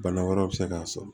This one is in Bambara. Bana wɛrɛw bɛ se k'a sɔrɔ